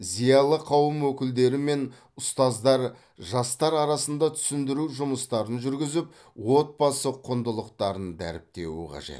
зиялы қауым өкілдері мен ұстаздар жастар арасында түсіндіру жұмыстарын жүргізіп отбасы құндылықтарын дәріптеуі қажет